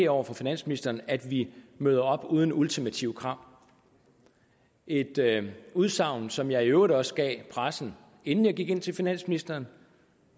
over for finansministeren markerer at vi møder op uden ultimative krav et udsagn som jeg i øvrigt også gav pressen inden jeg gik ind til finansministeren